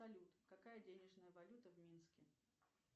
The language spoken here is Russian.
салют какая денежная валюта в минске